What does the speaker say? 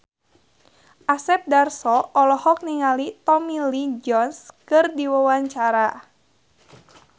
Asep Darso olohok ningali Tommy Lee Jones keur diwawancara